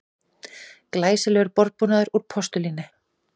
Glæsilegur borðbúnaður úr postulíni